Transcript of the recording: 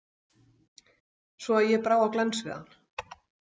Svo að ég brá á glens við hann.